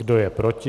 Kdo je proti?